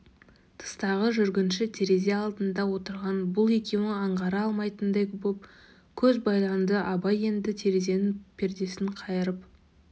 тыстағы жүргінші терезе алдында отырған бұл екеуін аңғара алмайтындай боп көз байланды абай енді терезенің пердесін қайырып